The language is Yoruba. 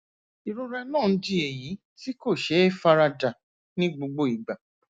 ìrora náà ń di èyí tí kò ṣeé fara dà ní gbogbo ìgbà